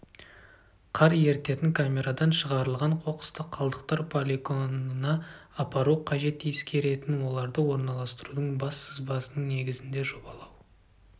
қар ерітетін камерадан шығарылған қоқысты қалдықтар полигонына апару қажет ескеретін оларды орналастырудың бас сызбасының негізінде жобалау